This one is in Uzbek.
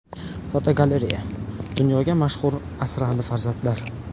Fotogalereya: Dunyoga mashhur asrandi farzandlar.